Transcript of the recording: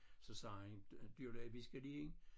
Så sagde han du der vi skal lige